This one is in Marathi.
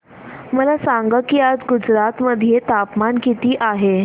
मला सांगा की आज गुजरात मध्ये तापमान किता आहे